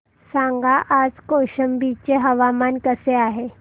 सांगा आज कौशंबी चे हवामान कसे आहे